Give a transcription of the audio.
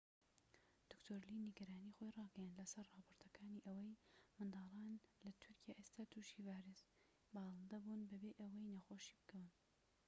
دکتۆر لی نیگەرانی خۆی ڕاگەیاند لەسەر راپۆرتەکانی ئەوەی منداڵان لە تورکیا ئێستا توشی ڤایرۆسی باڵندە ah5n1 بون بەبێ ئەوەی نەخۆش بکەون